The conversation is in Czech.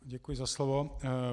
Děkuji za slovo.